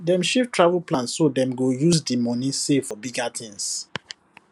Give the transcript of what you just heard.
dem shift travel plan so dem go use the money save for bigger thing